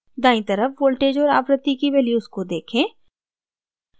दायीं तरफ voltage और आवृत्ति की values को देखें